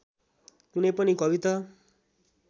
कुनै पनि कविता